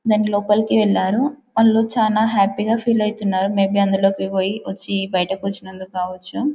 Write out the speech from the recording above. దాని లోపలకి వెళ్లరు వాళ్ళు చాలా హ్యాపీ గా ఫీల్ యెత్తినారు మే బి అందులోకి పొయ్యి వచ్చి బయటి వచ్చి అందుకు కావచ్చు.